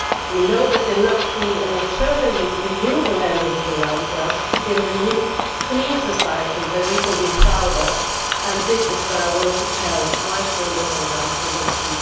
We know there is enough free and eternally renewable energy around for us to build a new clean society that we can be proud of and that is what I want to be able to tell my children and grandchildren that